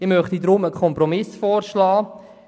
Ich möchte deswegen einen Kompromiss vorschlagen.